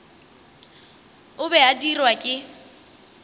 o be a dirwa ke